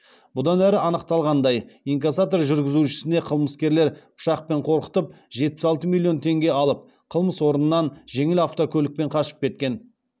бұдан әрі анықталғандай инкассатор жүргізушісіне қылмыскерлер пышақпен қорқытып жетпіс алты миллион теңге алып қылмыс орнынан жеңіл автокөлікпен қашып кеткен